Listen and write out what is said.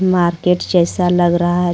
Market जैसा लग रहा है.